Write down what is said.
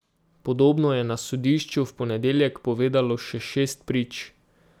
Podobno je na sodišču v ponedeljek povedalo še šest prič.